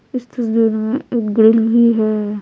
इस तस्वीर में एक ग्रिल भी है।